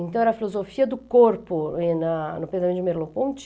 Então, era a filosofia do corpo eh na no pensamento de Merleau-Ponty.